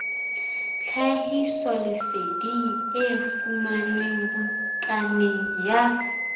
tlhahisoleseding e fumanwe bukaneng ya